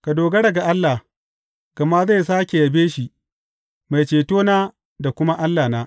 Ka dogara ga Allah, gama zai sāke yabe shi, Mai Cetona da kuma Allahna.